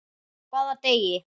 Hvaða degi?